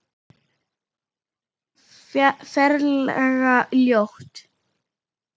Ferlega ljót.